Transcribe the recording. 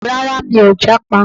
Rárá, mi ò jápa